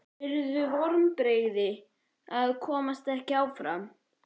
Yrðu vonbrigði að komast ekki áfram?